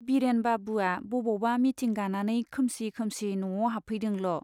Villain बाबुवा बबावबा meeting गानानै खोमसि खोमसि न'आव हाबफैदोंल'।